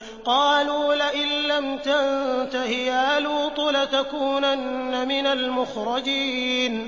قَالُوا لَئِن لَّمْ تَنتَهِ يَا لُوطُ لَتَكُونَنَّ مِنَ الْمُخْرَجِينَ